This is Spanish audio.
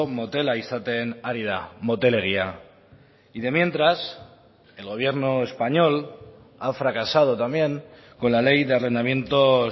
motela izaten ari da motelegia y de mientras el gobierno español ha fracasado también con la ley de arrendamientos